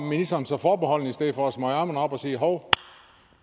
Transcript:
ministeren så forbeholden i stedet for at smøge ærmerne op og sige hov